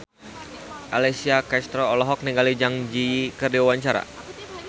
Alessia Cestaro olohok ningali Zang Zi Yi keur diwawancara